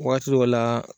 Waati dɔ la